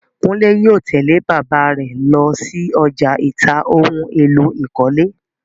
Kúnlè yóò tẹ̀lẹ́ bàbáà rẹ̀ lọsí ọjà ìta ohun èlò ìkọ́lé.